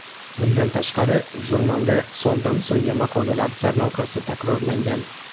Bundan tashqari, jurnalda sondan-songa maqolalar sarlavhasi takrorlangan.